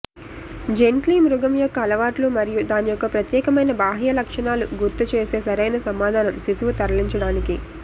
gently మృగం యొక్క అలవాట్లు మరియు దాని యొక్క ప్రత్యేకమైన బాహ్య లక్షణాలు గుర్తుచేసే సరైన సమాధానం శిశువు తరలించడానికి